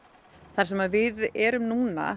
þar sem við erum núna